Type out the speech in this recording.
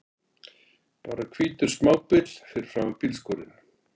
Bara hvítur smábíll fyrir framan bílskúrinn!